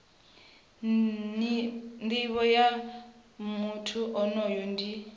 nivho ya muthu onoyo ndi